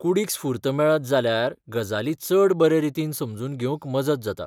कूडीक स्फूर्त मेळत जाल्यार गजाली चड बरे रीतीन समजून घेवंक मजत जाता.